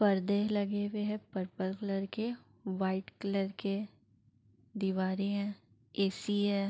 पर्दे लगे हुए हैं पर्पल कलर के। वाइट कलर के दीवारे हैं। ए सी है।